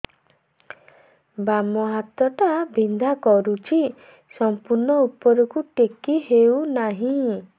ବାମ ହାତ ଟା ବିନ୍ଧା କରୁଛି ସମ୍ପୂର୍ଣ ଉପରକୁ ଟେକି ହୋଉନାହିଁ